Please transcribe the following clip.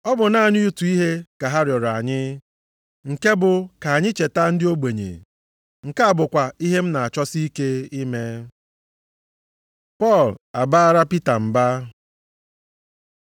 Ọ bụ naanị otu ihe ka ha rịọrọ anyị, nke bụ ka anyị cheta ndị ogbenye. Nke a bụkwa ihe m na-achọsi ike ime. Pọl abaara Pita mba